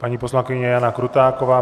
Paní poslankyně Jana Krutáková.